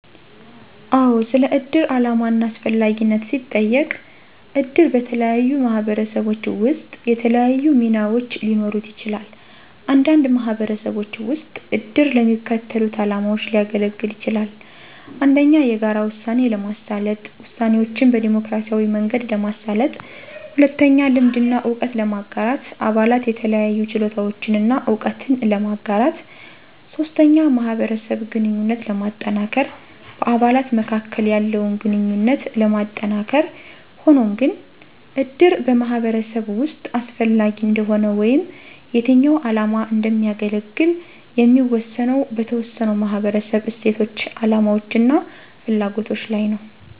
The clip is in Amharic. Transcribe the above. አዎ! ስለ እድር ዓላማ እና አስፈላጊነት ሲጠየቅ - እድር በተለያዩ ማህበረሰቦች ውስጥ የተለያዩ ሚናዎች ሊኖሩት ይችላል። አንዳንድ ማህበረሰቦች ውስጥ እድር ለሚከተሉት ዓላማዎች ሊያገለግል ይችላል - 1. የጋራ ውሳኔ ለማሳለጥ - ውሳኔዎችን በዴሞክራሲያዊ መንገድ ለማሳለጥ 2. ልምድ እና እውቀት ለማጋራት - አባላት የተለያዩ ችሎታዎችን እና እውቀትን ለማጋራት 3. ማህበረሰብ ግንኙነት ለማጠናከር - በአባላት መካከል ያለውን ግንኙነት ለማጠናከር ሆኖም ግን፣ እድር በማህበረሰብ ውስጥ አስፈላጊ እንደሆነ ወይም የትኛው ዓላማ እንደሚያገለግል የሚወሰነው በተወሰነው ማህበረሰብ እሴቶች፣ አላማዎች እና ፍላጎቶች ላይ ነው።